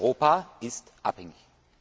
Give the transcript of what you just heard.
Europa ist abhängig.